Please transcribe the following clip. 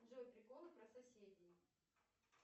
джой приколы про соседей